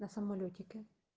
на самолётике